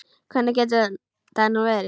Hvernig getur það nú verið?